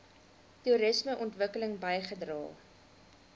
toerisme ontwikkeling bygedra